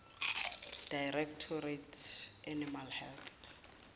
directorate animal health